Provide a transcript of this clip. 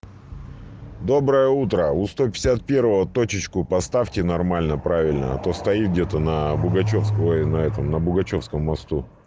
доброе утро у сто пятьдесят первого точечку поставьте нормально правильно а то стоит где-то на пугачёвского и на этом на бугачевском мосту